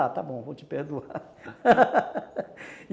Ah, está bom, vou te perdoar